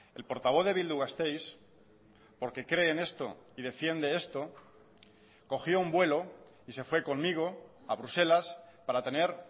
el portavoz de bildu gasteiz porque cree en esto y defiende esto cogió un vuelo y se fue conmigo a bruselas para tener